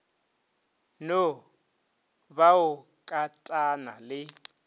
no ba o katana le